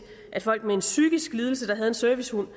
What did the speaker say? at folk med en psykisk lidelse der havde en servicehund